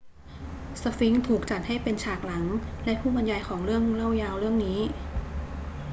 สฟิงซ์ถูกจัดให้เป็นฉากหลังและผู้บรรยายของเรื่องเล่ายาวเรื่องนี้